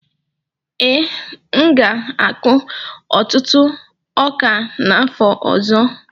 Ee, m ga-akụ ọtụtụ ọka n'afọ ọzọ.